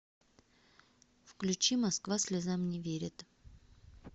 включи москва слезам не верит